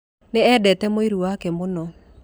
Nĩ eendete mũriũ wake mũno